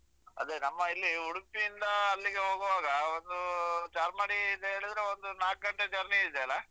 ಹಾ ಅದೇ ನಮ್ಮ ಇಲ್ಲಿ ಉಡುಪಿಯಿಂದ ಅಲ್ಲಿಗೆ ಹೋಗುವಾಗ ಒಂದು ಚಾರ್ಮಡಿ ಇದ್ ಹೇಳಿದ್ರೆ ಒಂದು ನಾಕ್ ಗಂಟೆ journey ಇದ್ಯಲ್ಲ.